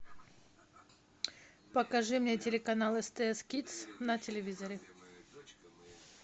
покажи мне телеканал стс кидс на телевизоре